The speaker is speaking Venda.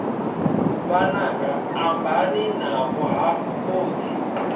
vhananga ambani navho hafhu khotsi